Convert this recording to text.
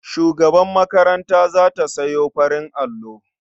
Shugabar makaranta za ta sayo farin allo.